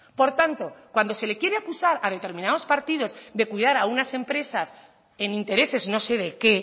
por tanto cuando se le quiere acusar a determinados partidos de cuidar a unas empresas en intereses no se de qué